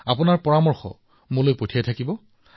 আপোনালোকে মোক এনেদৰে আপোনাৰ পৰামৰ্শ প্ৰেৰণ কৰি থাকিব